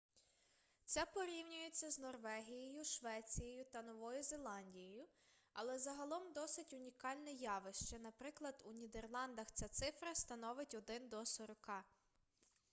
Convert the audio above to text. це порівнюється з норвегією швецією та новою зеландією але загалом досить унікальне явище наприклад у нідерландах ця цифра становить один до сорока